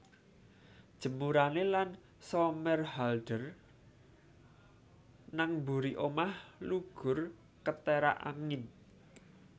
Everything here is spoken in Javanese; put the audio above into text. Jemurane Ian Somerhalder nang mburi omah lugur keterak angin